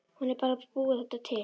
Hún er bara að búa þetta til.